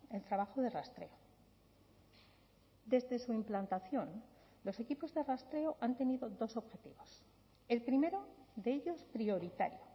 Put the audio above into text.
el trabajo de rastreo desde su implantación los equipos de rastreo han tenido dos objetivos el primero de ellos prioritario